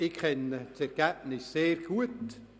Ich kenne das Ergebnis sehr gut: